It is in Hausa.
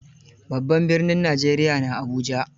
Babban birnin Najeriya na Abuja.